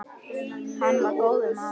Hann var góður maður.